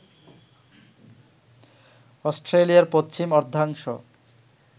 অস্ট্রেলিয়ার পশ্চিম অর্ধাংশ